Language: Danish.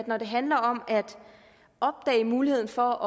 når det handler om at opdage muligheden for